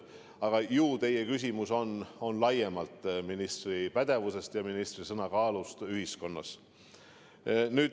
Aga ilmselt on teie küsimus laiemalt ministri pädevuse ja ministri sõna kaalu kohta ühiskonnas.